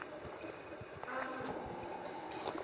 ahulumende